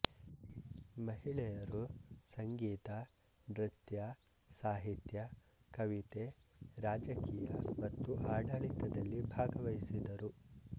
ಮಹಿಳೆಯರು ಸಂಗೀತ ನೃತ್ಯ ಸಾಹಿತ್ಯ ಕವಿತೆ ರಾಜಕೀಯ ಮತ್ತು ಆಡಳಿತದಲ್ಲಿ ಭಾಗವಹಿಸಿದರು